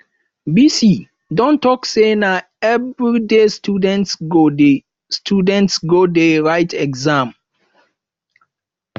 vc don talk say na everyday students go dey students go dey write exam